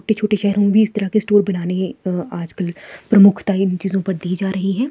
छोटे छोटे शहरों में इस तरह के स्टूल बनाने हैं अह आजकल प्रमुखता ही इन चीजों पर दी जा रही है।